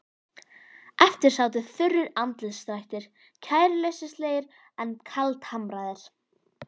Eftir sátu þurrir andlitsdrættir, kæruleysislegir en kaldhamraðir.